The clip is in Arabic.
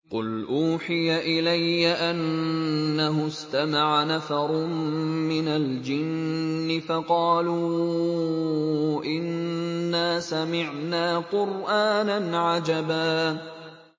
قُلْ أُوحِيَ إِلَيَّ أَنَّهُ اسْتَمَعَ نَفَرٌ مِّنَ الْجِنِّ فَقَالُوا إِنَّا سَمِعْنَا قُرْآنًا عَجَبًا